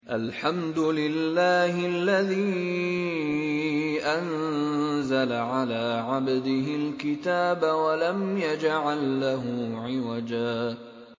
الْحَمْدُ لِلَّهِ الَّذِي أَنزَلَ عَلَىٰ عَبْدِهِ الْكِتَابَ وَلَمْ يَجْعَل لَّهُ عِوَجًا ۜ